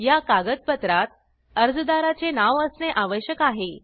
या कागदपत्रात अर्जदाराचे नाव असणे आवश्यक आहे